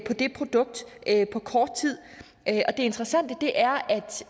det produkt på kort tid og det interessante er